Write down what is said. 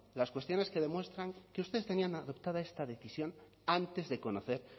las cuestiones que demuestran que ustedes tenían adoptada esta decisión antes de conocer